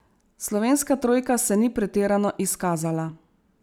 Slovenska trojka se ni pretirano izkazala.